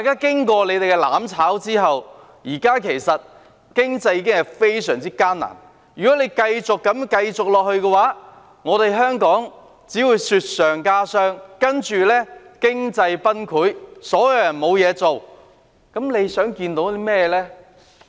經過他們的"攬炒"，現時經濟已經非常艱難，如果他們繼續這樣，香港只會雪上加霜，然後經濟崩潰，所有人失去工作，他們究竟想看到甚麼情況呢？